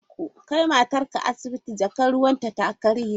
Kai matarka asibiti! Jakar ruwanta ta karye!